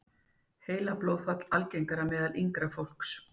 Heilablóðfall algengara meðal yngra fólks